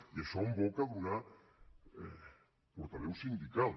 i això en boca d’una portaveu sindical